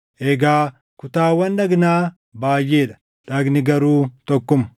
Egaa kutaawwan dhagnaa baayʼee dha; dhagni garuu tokkuma.